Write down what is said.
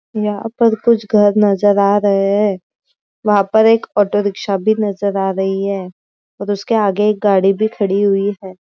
यहा पर कुछ घर नजर आ रहे है वहा पर एक ऑटो रिक्शा भी नजर आ रही है और उसके आगे एक गाडी भी खड़ी हुई है।